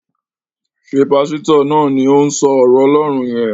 Ṣé Pásítọ̀ náà ni òun sọ ọ̀rọ̀ Ọlọ́run yẹn?